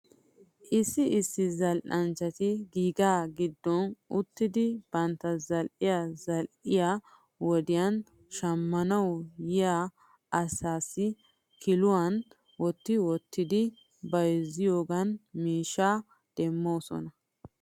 Issi issi zal'anchchati giga giddon uttidi bantta zal'iyaa zal'iyaa wodiyan shammanaw yiyaa asaasi kiluwan wotti wottidi bayzziyoogan miishshaa demoosona .